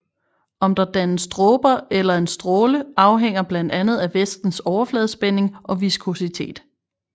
Om der dannes dråber eller en stråle afhænger blandt andet af væskens overfladespænding og viskositet